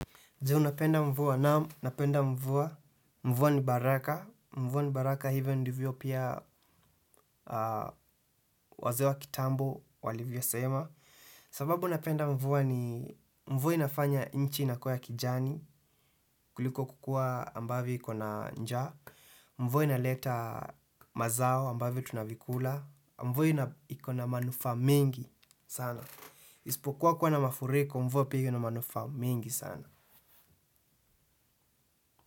Je, unapenda mvua? Naam napenda mvua. Mvua ni baraka. Mvua ni baraka hivyo ndivyo pia wazee wa kitambo walivyosema. Sababu napenda mvua ni mvua inafanya nchi inakua kijani kuliko kukua ambavyo ikona njaa. Mvua inaleta mazao ambavi tunavikula. Mvua ikona manufaa mengi sana. Ispokuwa kuwa na mafuriko, mvua pia ina manufaa mengi sana.